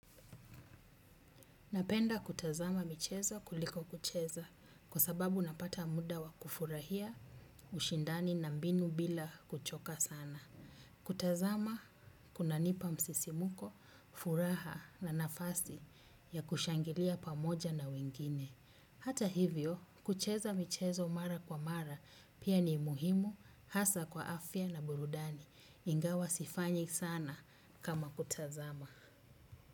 Napenda kutazama michezo kuliko kucheza kwa sababu napata muda wa kufurahia ushindani na mbinu bila kuchoka sana. Kutazama kuna nipa msisimuko, furaha na nafasi ya kushangilia pamoja na wengine. Hata hivyo, kucheza michezo mara kwa mara pia ni muhimu hasa kwa afya na burudani. Ingawa sifanyi sana kama kutazama.